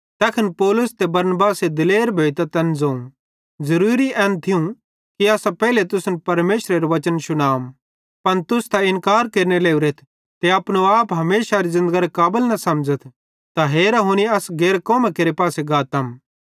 तैखन पौलुस ते बरनबासे दिलेर भोइतां तैन ज़ोवं ज़ुरूरी एन थियूं कि असां पेइले तुसन परमेशरेरू बच्चन शुनाम पन तुस त इन्कार केरने लोरेथ ते अपनो आप हमेशारी ज़िन्दगरे काबल न समझ़थ त हेरा हुनी असां गैर कौमां केरे पासे गातम